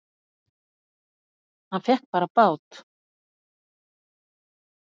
Hann fékk bara bát!